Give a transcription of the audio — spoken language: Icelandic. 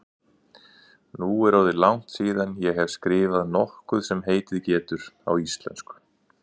Nú er orðið langt síðan ég hef skrifað nokkuð sem heitið getur á íslensku.